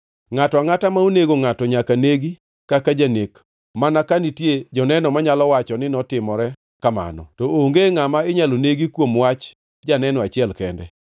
“ ‘Ngʼato angʼata ma onego ngʼato nyaka negi kaka janek mana ka nitie joneno manyalo wacho ni notimore kamano. To onge ngʼama inyalo negi kuom wach janeno achiel kende.